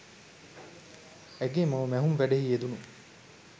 ඇගේ මව මැහුම් වැඩෙහි යෙදුණු